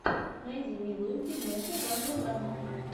найди милую фильмуху жанра драма